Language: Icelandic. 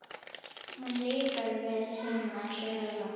Hún lýkur við sínar sögur.